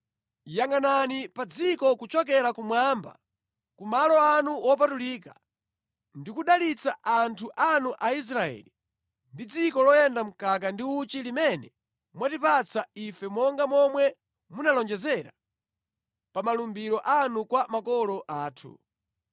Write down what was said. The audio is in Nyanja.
Yangʼanani pa dziko kuchokera kumwamba, ku malo anu wopatulika, ndi kudalitsa anthu anu Aisraeli ndi dziko loyenda mkaka ndi uchi limene mwatipatsa ife monga momwe munalonjezera pa malumbiro anu kwa makolo athu.”